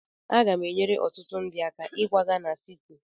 Aga m enyere ọtụtụ ndị aka ịkwaga na siti.